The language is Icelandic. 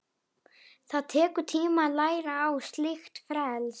Það tekur tíma að læra á slíkt frelsi.